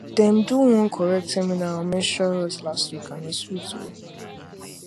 dem do one correct seminar on menstrual health last week and e sweet well